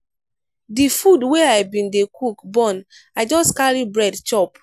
di food wey i bin dey cook burn i just carry bread chop.